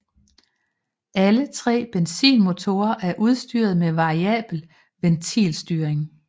Alle tre benzinmotorer er udstyret med variabel ventilstyring